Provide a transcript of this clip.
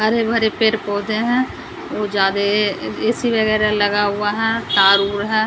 हरे भरे पेड़-पौधे हैं वो ज्यादा ए_सी वगैरह लगा हुआ है तार-उर है।